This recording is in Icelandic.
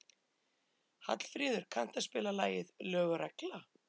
Hallfríður, kanntu að spila lagið „Lög og regla“?